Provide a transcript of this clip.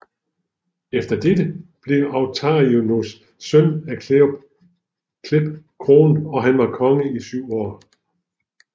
Efter dette blev Autarinus søn af Cleph kronet og han var konge i syv år